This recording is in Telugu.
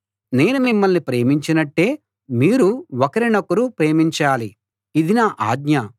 నేను మిమ్మల్ని ప్రేమించినట్టే మీరు ఒకరినొకరు ప్రేమించాలి ఇది నా ఆజ్ఞ